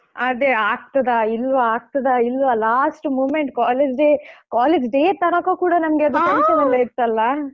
ಅದೇ ಆಗ್ತದ ಇಲ್ವಾ ಆಗ್ತದ ಇಲ್ವಾ last moment college day college day ತನಕ ಕೂಡ ನಮ್ಗೆ ಅದು tension ಅಲ್ಲೇ ಇತ್ತಲ್ಲಾ?